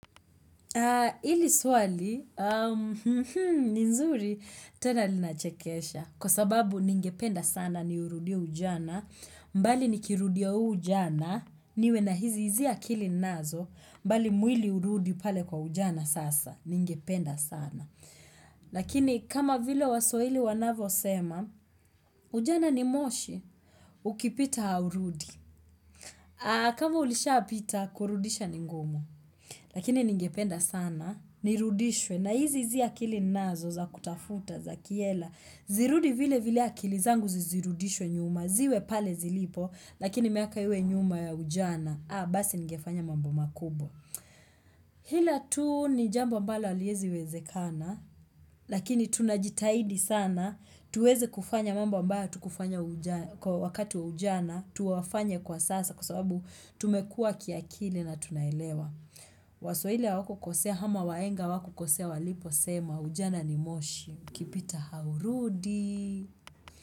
Hili swali, ni nzuri tena linachekesha. Kwa sababu ningependa sana ni urudie ujana, mbali nikirudia huu ujana, niwe na hizi hizi akili ninazo, mbali mwili urudi pale kwa ujana sasa. Ningependa sana. Lakini kama vile waswahili wanavyosema, ujana ni moshi, ukipita haurudi. Kama ulishapita, kurudisha ni ngumu. Lakini ningependa sana, nirudishwe na hizi hizi akili ninazo za kutafuta za kihela, zirudi vilevile akili zangu zisirudishwe nyuma, ziwe pale zilipo, lakini miaka iwe nyuma ya ujana, haa basi ningefanya mambo makubwa. Ila tu ni jambo ambalo haliezi wezekana, lakini tunajitahidi sana, tuweze kufanya mambo ambayo hatukufanya wakati wa ujana, tuwafanye kwa sasa kwa sababu tumekua kiakili na tunaelewa. Waswahili hawakukosea, ama wahenga hawakukosea waliposema, ujana ni moshi. Ukipita haurudi.